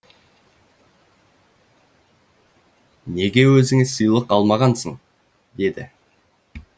неге өзіңе сыйлық алмағансың деді